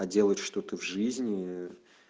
а делать что-то в жизни